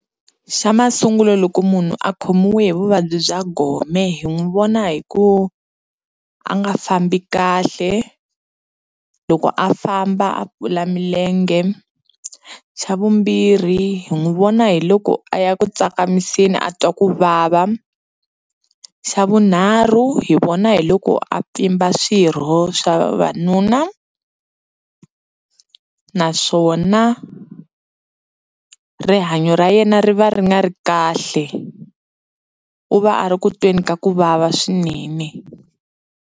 Xa masungulo loko munhu a khomiwe hi vuvabyi bya gome hi n'wi vona hi ku a nga fambi kahle loko a famba a kula milenge xa vumbirhi hi n'wi vona hi loko a ya ku tsakamiseni a twa ku vava xa vunharhu hi vona hi loko a pfimba swirho swa vavanuna naswona rihanyo ra yena ri va ri nga ri kahle u va a ri kutweni ka kuvava swinene.